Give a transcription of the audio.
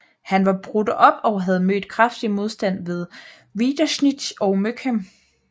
Han var brudt op og havde mødt kraftig modstand ved Wiederitzsch og Möckern